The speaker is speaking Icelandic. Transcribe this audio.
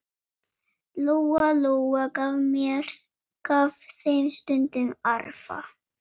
Lóa-Lóa gaf þeim stundum arfa.